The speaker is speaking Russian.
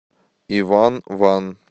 иван ван